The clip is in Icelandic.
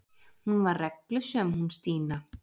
Hún var reglusöm hún Stína.